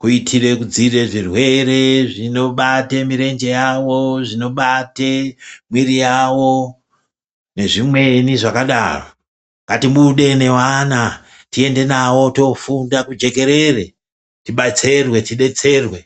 kuitire kudzivirira zvirwere zvinobate mirenje yavo , zvinobate miri yavo nezvimweni zvakadaro ngatibude nevana tiende navo tofunda kujekerere tibastirwe detserwe.